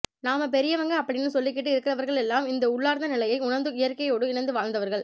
நாம பெரியவங்க அப்படின்னு சொல்லிக்கிட்டு இருக்கிறவர்கள் எல்லாம் இந்த உள்ளார்ந்த நிலையை உணர்ந்து இயற்கையோடு இணைந்து வாழ்ந்தவர்கள்